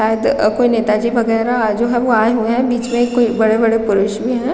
शायद अ कोई नेता जी वगैरह जो आये हुए है बीच में कोई बड़े -बड़े पुरुष भी है ।